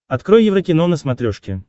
открой еврокино на смотрешке